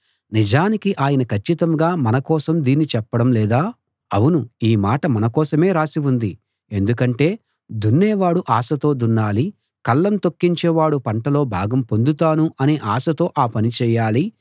నిజానికి ఆయన కచ్చితంగా మన కోసం దీన్ని చెప్పడం లేదా అవును ఈ మాట మన కోసమే రాసి ఉంది ఎందుకంటే దున్నేవాడు ఆశతో దున్నాలి కళ్ళం తొక్కించేవాడు పంటలో భాగం పొందుతాను అనే ఆశతో ఆ పని చేయాలి